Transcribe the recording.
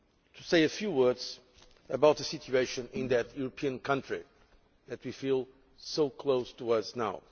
to say a few words about the situation in that European country which we feel is so close to us now.